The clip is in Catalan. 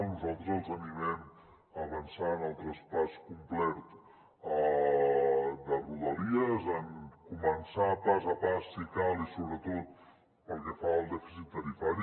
nosaltres els animem a avançar en el traspàs complet de rodalies a començar pas a pas si cal i sobretot pel que fa al dèficit tarifari